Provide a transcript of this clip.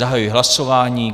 Zahajuji hlasování.